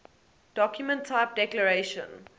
document type declaration